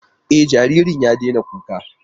E, jaririn ya daina kukan.